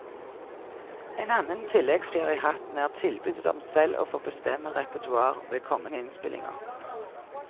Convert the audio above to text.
En annen tilleggsfjær i hatten er tilbudet om selv å få bestemme repertoar ved kommende innspillinger.